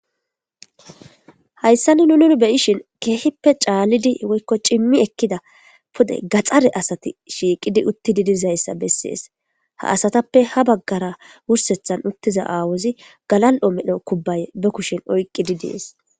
Hayissan nuni beyishshin kehippe caliza woyikko cimiza pude gaxare asati uttidi utidayissanne qase hani bagara kehippe cimiza away galali"o kobe oyqid des